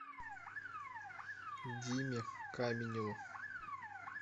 диме каменеву